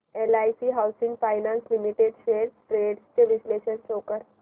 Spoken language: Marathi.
LIC housing finance limited shares trends चे विश्लेषण शो कर